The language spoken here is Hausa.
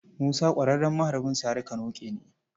Musa ƙwararren maharbin sari-ka-noƙe ne.